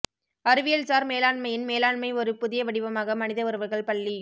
அறிவியல்சார் மேலாண்மையின் மேலாண்மை ஒரு புதிய வடிவமாக மனித உறவுகள் பள்ளி